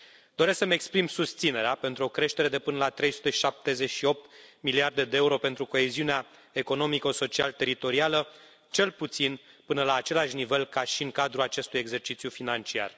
Doresc să îmi exprim susținerea pentru o creștere de până la 378 de miliarde de euro pentru coeziunea economico social teritorială, cel puțin până la același nivel ca și în cadrul acestui exercițiu financiar.